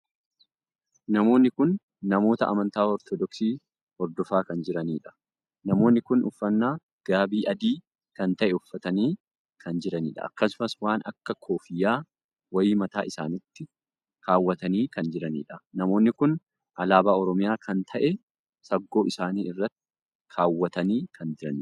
Namoonni kun namoota amantaa ortodoksii hordofaa kan jiraniidha. namoonni kun uffannaa gaabii adii kan tahe uffatanii kan jiranidha. akkasumas waan akka koffiyyaa wayii mataa isaaniitti kaawwatanii kan jiraniidha. namoonni kun alaabaa oromiyaa kan tahee saggoo isaanii irra kaawwatanii kan jiranidha.